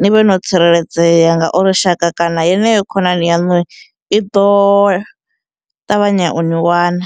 ni vhe no tsireledzea ngauri shaka kana yeneyo khonani yaṋu i ḓo ṱavhanya u ni wana.